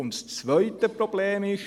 Das zweite Problem ist: